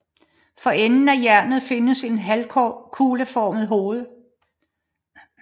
For enden af jernet findes et halvkugleformet hoved